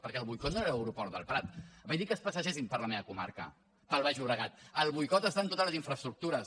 perquè el boicot no era a l’aeroport del prat vaig dir que es passegessin per la meva comarca pel baix llobregat el boicot està en totes les infraestructures